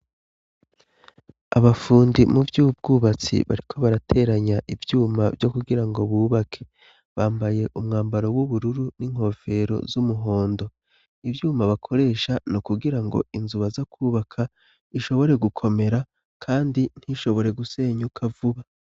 Abafundi mu vy' ubwubatsi bariko barateranya ivyuma vyo kugira ngo bubake bambaye umwambaro w'ubururu n'inkofero z'umuhondo ivyuma bakoresha no kugira ngo inzu baza kwubaka ishobore gukomera, kandi ntishobore gusenyuka vuba.